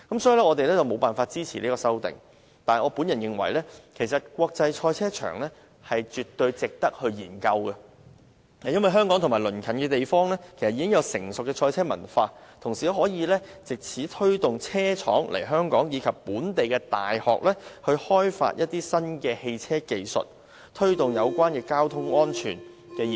所以，敝黨無法支持這項修正案，但我個人認為，興建國際賽車場的建議絕對值得研究，因為香港及鄰近地方已有成熟的賽車文化，同時可以藉此推動車廠來港，以及鼓勵本地大學開發新的汽車技術，從而推動有關交通安全的科研。